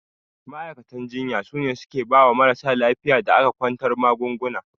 Ma'aikatan jinya sune suke bawa marasa lafiyar da aka kwantar magaunguna.